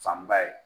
Fanba ye